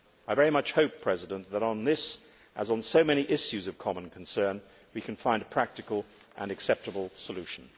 I very much hope that on this, as on so many issues of common concern, we can find a practical and acceptable solution.